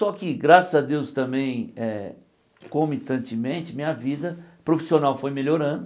Só que graças a Deus também eh, comitantemente, minha vida profissional foi melhorando.